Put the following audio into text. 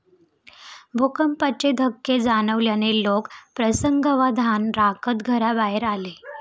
भूकंपाचे धक्के जाणवल्याने लोक प्रसंगावधान राखत घराबाहेर आले.